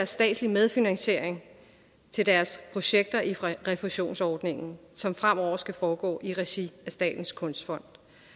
statslige medfinansiering til deres projekter i refusionsordningen som fremover skal foregå i regi af statens kunstfond